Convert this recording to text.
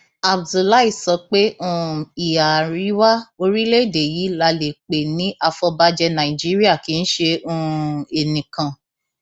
abdullahi sọ pé um ìhà àríwá orílẹèdè yìí la lè pè ní àfọbàjé nàìjíríà kì í ṣe um enìkan